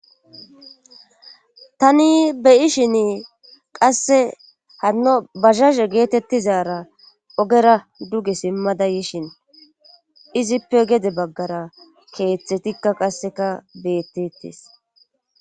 tani beyishin qasse hanno bajaje geetettizara ogera duge simmada yishin izippe gede baggara keeththe tikka qasseka bettetes